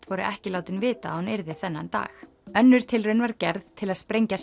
voru ekki látin vita að hún yrði þennan dag önnur tilraun var gerð til að sprengja